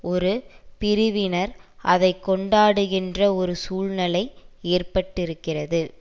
ஒரு பிரிவினர் அதை கொண்டாடுகின்ற ஒரு சூழ்நிலை ஏற்பட்டிருக்கிறது